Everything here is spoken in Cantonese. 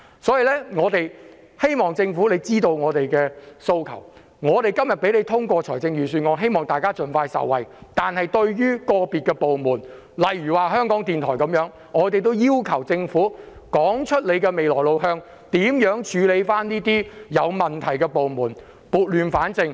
所以，我們希望政府知道我們的訴求，我們今天支持通過預算案，是希望市民可以盡快受惠，但對於個別部門，例如香港電台，我們要求政府說清楚未來的路向，將會如何處理這些有問題的部門，撥亂反正。